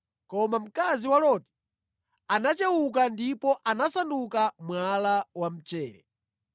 Koma mkazi wa Loti anachewuka ndipo anasanduka mwala wa mchere.